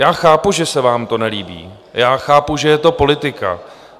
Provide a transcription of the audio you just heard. Já chápu, že se vám to nelíbí, já chápu, že je to politika.